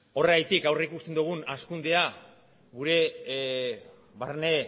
horregatik aurrikusten dugun hazkunde gure barne